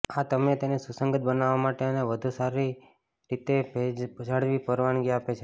આ તમે તેને સુસંગત બનાવવા માટે અને વધુ સારી રીતે ભેજ જાળવી પરવાનગી આપે છે